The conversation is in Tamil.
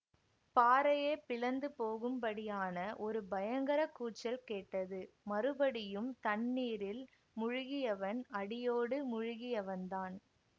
பாறையே பிளந்து போகும்படியான ஒரு பயங்கர கூச்சல் கேட்டது மறுபடியும் தண்ணீரில் முழுகியவன் அடியோடு முழுகியவன்தான்